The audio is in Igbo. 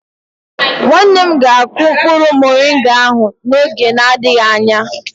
Nwanne m ga-akụ mkpụrụ moringa ahụ n'oge na-adịghị anya.